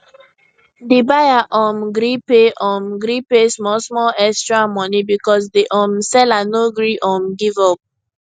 di buyer um gree pay um gree pay small small extra money because di um seller no gree um give up